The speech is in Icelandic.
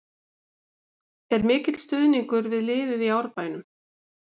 Er mikill stuðningur við liðið í Árbænum?